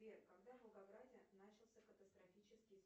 сбер когда в волгограде начался катастрофический